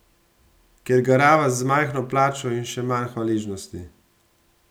Ker garava za majhno plačo in še manj hvaležnosti?